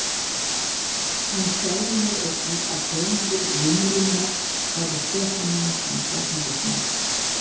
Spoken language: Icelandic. Hann tjáði mér einnig að höfundur limrunnar væri Stefán Jónsson alþingismaður.